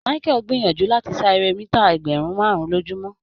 Michael gbìyànjú láti sá eré mítà ẹgbẹ̀rún márùn-ún lójúmọ́.